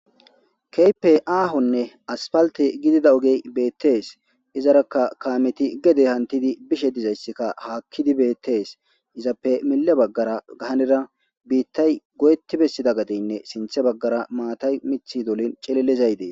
Kehipe ahonne asfaltte giddida ogey bettes. izarakka kameti gede hantiddi bishe dizayssi hakiddi bettes izappe mile hanira bittay goyetti bessida gadeynne sinthe bagara matay miththi dollin cillilizay bettes.